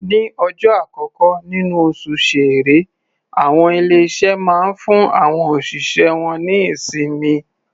Ní ọjọ́ àkọ́kọ́ níní oṣù Ṣẹẹrẹ, àwọn ilé-iṣé máa ń fún àwọn òṣìṣẹ́ wọ́n ní ìsinmi.